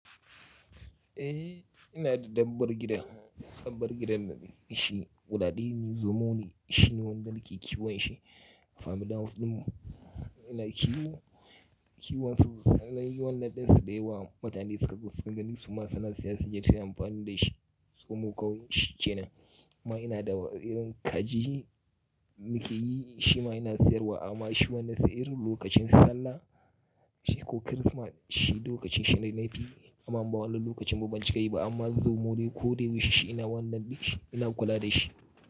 Eh, ina da dabbar gida, dabbar gidan shi guda ɗaya ne. Zomo ne shi wanda yake kiwon shi. A family hiuse ɗin mu ina kiwo, kiwon su sanai wannan ɗansa ɗaya wa mutane suka gani su ma suna siyan su don amfani da shi. Zomo ƙauyen shi ce na, amma ina da wa'irin kaji muke yi shi ma ina sayarwa amma shi wannan sayar lokacin Sallah shi ko Kirsimati shi duk lokacin shekara yana yi amma ba wannan lokacin bambancin kai ba amma zomo dai ko dai wuri shi ina wannan ɗin shi ina kula da shi.